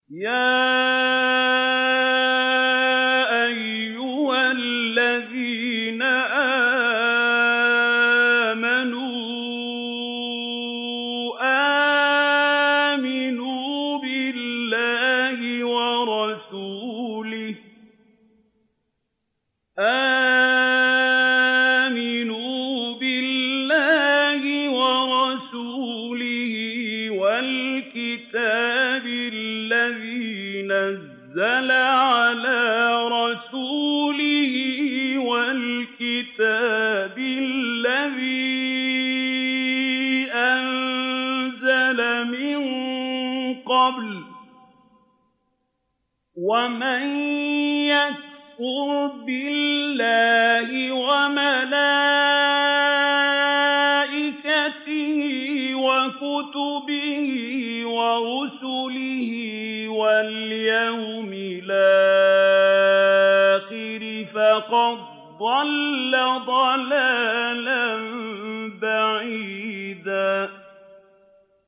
يَا أَيُّهَا الَّذِينَ آمَنُوا آمِنُوا بِاللَّهِ وَرَسُولِهِ وَالْكِتَابِ الَّذِي نَزَّلَ عَلَىٰ رَسُولِهِ وَالْكِتَابِ الَّذِي أَنزَلَ مِن قَبْلُ ۚ وَمَن يَكْفُرْ بِاللَّهِ وَمَلَائِكَتِهِ وَكُتُبِهِ وَرُسُلِهِ وَالْيَوْمِ الْآخِرِ فَقَدْ ضَلَّ ضَلَالًا بَعِيدًا